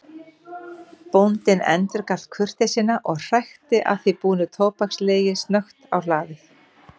Bóndinn endurgalt kurteisina og hrækti að því búnu tóbakslegi snöggt á hlaðið.